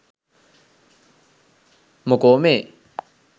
මොකෝ මේ